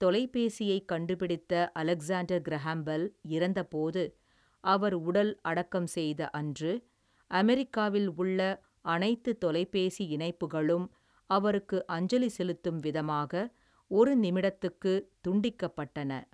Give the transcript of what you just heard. தொலைபேசியைக் கண்டுபிடித்த Alexander Graham Bell, இறந்த போது, அவர் உடல் அடக்கம் செய்த அன்று, அமெரிக்காவில் உள்ள அனைத்து தொலைபேசி இணைப்புகளும், அவருக்கு அஞ்சலி செலுத்தும் விதமாக, ஒரு நிமிடத்துக்கு துண்டிக்கப்பட்டன.